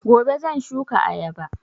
Gobe shan shuka ayaba